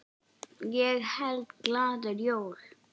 Ég held glaður jól.